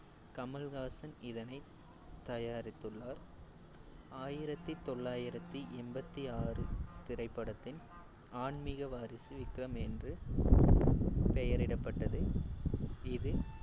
கமல்ஹாசன் இதனை தயாரித்துள்ளார் ஆயிரத்தி தொள்ளாயிரத்தி எண்பத்தி ஆறு திரைப்படத்தின் ஆன்மீக வாரிசு விக்ரம் என்று பெயரிடப்பட்டது. இது